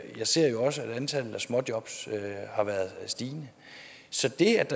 ser jo også at antallet af småjobs har været stigende så